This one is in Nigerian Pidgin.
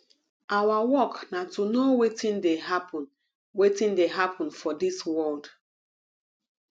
our work na to know wetin dey happen wetin dey happen for dis world